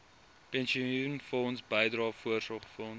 pensioenfonds bydrae voorsorgfonds